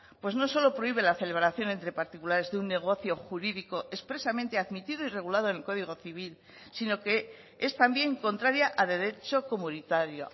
pues no solo prohíbe la celebración entre particulares de un negocio jurídico expresamente a admitido y regulado en el código civil sino que es también contraria a derecho comunitario